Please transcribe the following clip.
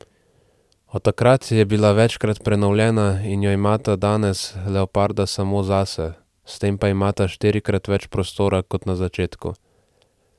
Od takrat je bila večkrat prenovljena in jo imata danes leoparda samo zase, s tem pa imata štirikrat več prostora kot na začetku.